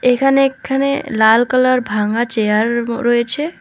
এখানে একখানে লাল কালার ভাঙা চেয়ার ব রয়েছে।